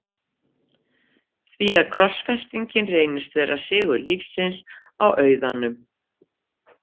því að krossfestingin reynist vera sigur lífsins á auðanum.